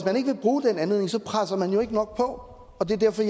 bruge den anledning presser man jo ikke nok på og det er derfor